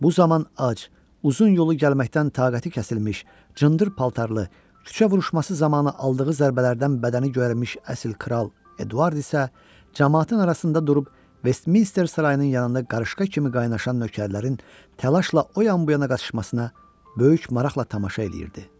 Bu zaman ac, uzun yolu gəlməkdən taqəti kəsilmiş, cındır paltarlı, küçə vuruşması zamanı aldığı zərbələrdən bədəni göyərmiş əsl kral Eduard isə camaatın arasında durub Vestminster sarayının yanında qarışqa kimi qaynaşan nökərlərin təlaşla o yana bu yana qaçışmasına böyük maraqla tamaşa eləyirdi.